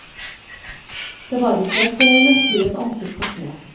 Det var ikke et mørkhudet ansikt å se.